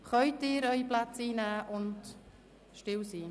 Können Sie Ihre Plätze einnehmen und still sein?